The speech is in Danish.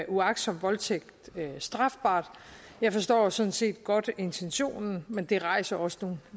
uagtsom voldtægt strafbart jeg forstår sådan set godt intentionen men det rejser også nogle